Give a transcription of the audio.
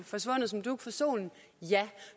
forsvundet som dug for solen ja